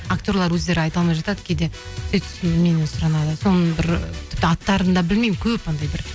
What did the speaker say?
актерлер өздері айта алмай жатады кейде сөйтіп меннен сұранады соны бір тіпті аттарын да білмеймін көп бір